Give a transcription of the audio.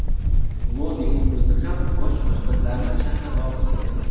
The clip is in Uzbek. Modining o‘zi ham bosh oshpazlarni shaxsan olqishlagan.